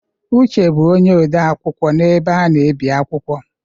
Uche bụ onye ode akwụkwọ n'ebe a na-ebi akwụkwọ.